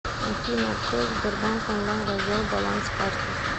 афина открой сбербанк онлайн раздел баланс карты